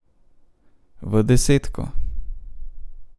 V desetko.